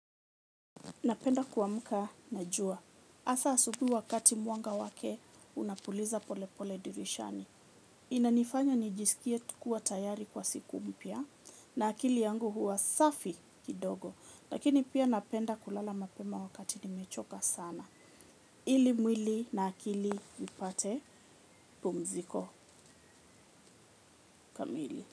Napenda kuamka na jua. Hasa asubuhi wakati mwanga wake unapuliza pole pole dirishani. Inanifanya nijisikie tu kuwa tayari kwa siku mpya na akili yangu huwa safi kidogo. Lakini pia napenda kulala mapema wakati nimechoka sana. Ili mwili na akili ipate pumziko kamili.